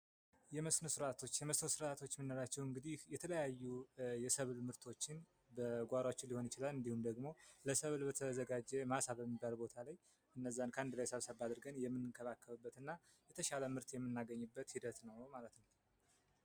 የመስኖ ስርዓቶች የመስኖ ስርዓቶች የምንላቸው እንግዲህ የተለያዩ የሰብል ምርቶችን በጓሯችን ሊሆን ይችላል እንዲሁም ደግሞ ለሰብል በተዘጋጀ ማሳ በተባለ ቦታ ላይ እነዛን በአንድ ቦታ ሰብሰብ አድርገን የምንከባከብበት እና የተሻለ ምርት የምናገኝበት ሂደት ነው ማለት ነው።